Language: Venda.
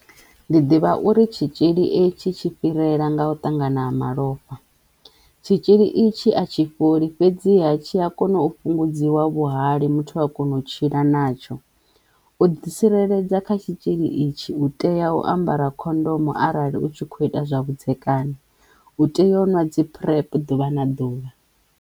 Ndi ḓivha uri tshitzhili e tshi tshi fhirela nga u ṱangana ha malofha tshitzhili i tshi a tshi fholi fhedziha tshi a kona u fhungudziwa vhuhali muthu a kona u tshila natsho. U ḓi tsireledza kha tshitzhili itshi u tea u ambara khondomo arali u tshi kho ita zwa vhudzekani, u teyo u ṅwa dzi PrEP ḓuvha na ḓuvha.